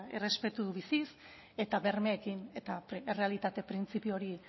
errespetu biziz eta bermeekin eta errealitate printzipio hori